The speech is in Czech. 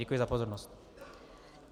Děkuji za pozornost.